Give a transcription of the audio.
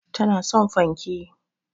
Tana son fanke